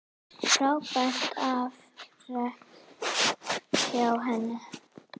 Frábært afrek hjá henni.